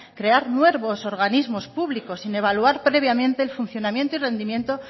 crear nuevos organismos públicos sin evaluar previamente el funcionamiento y el rendimiento